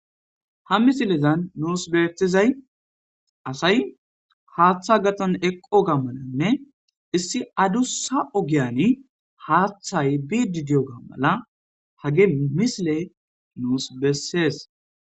ha misilezan nuus betizay asay haaththa gaxan eqqo gammananne issi adussa ogiyani haaththay bidideyo gammala hage misile nuus bessees